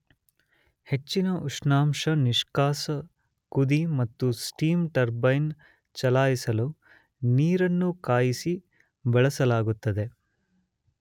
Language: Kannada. ಹೆಚ್ಚಿನ ಉಷ್ಣಾಂಶ ನಿಷ್ಕಾಸ ಕುದಿ ಮತ್ತು ಸ್ಟೀಮ್ ಟರ್ಬೈನ್ ಚಲಾಯಿಸಲು ನೀರಿನ ಕಾಯಿಸಿ ಬಳಸಲಾಗುತ್ತದೆ.